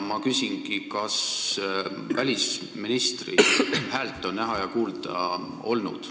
Ma küsingi, kas välisministri häält on ikka kuulda olnud.